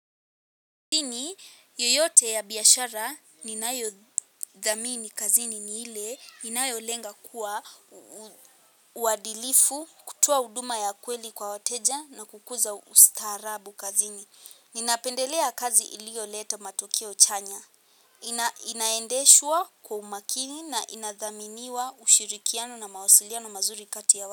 Kazini, yeyote ya biashara, ninayo dhamini kazini ni ile, inayo lenga kuwa, uadilifu, kutoa huduma ya kweli kwa wateja na kukuza ustaharabu kazini. Ninapendelea kazi ilio leta matokeo chanya. Inaendeshwa kwa umakini na inadhaminiwa ushirikiano na mawasiliano mazuri kati ya wakini.